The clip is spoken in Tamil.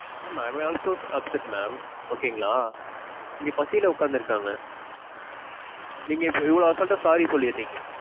mam. I am also upset mam. okay ங்களா. இங்க பசில உக்காந்திருக்காங்க நீங்க இப்ப இவ்வளவு அசால்டா sorry சொல்லுறீங்க.